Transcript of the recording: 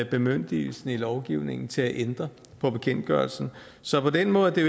bemyndigelse i lovgivningen til at ændre på bekendtgørelsen så på den måde er